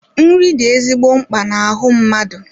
Nri dị ezigbo mkpa na-ahu mmadụ